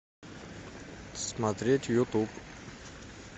смотреть ютуб